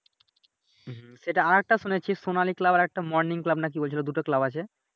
হুম সেটা আর একটা শুনেছি সোনালি ক্লাব আর একটা Morning ক্লাব নাকি বলছিলো দুটো ক্লাব নাকি আছে